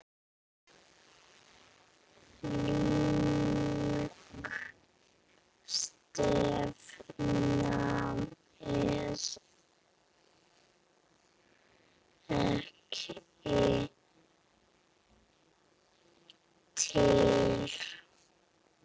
Slík stefna er ekki til.